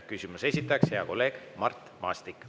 Küsimuse esitaja on hea kolleeg Mart Maastik.